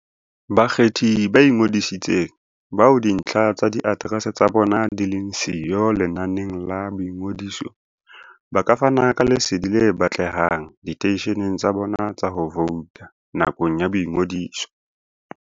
Bakgethi ba ingodisitseng, bao dintlha tsa diaterese tsa bona di leng siyo lenaneng la boingodiso, ba ka fana ka lesedi le batlehang diteisheneng tsa bona tsa ho vouta nakong ya boingodiso.